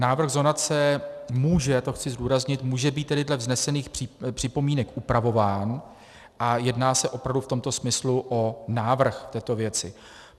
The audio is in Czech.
Návrh zonace může - to chci zdůraznit - může být tedy dle vznesených připomínek upravován a jedná se opravdu v tomto smyslu o návrh této věci.